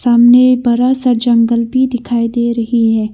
सामने बड़ा सा जंगल भी दिखाई दे रही है।